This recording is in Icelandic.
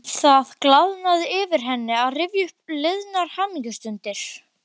Það glaðnaði yfir henni við að rifja upp liðnar hamingjustundir.